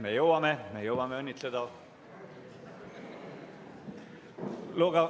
Me jõuame, me jõuame õnnitleda.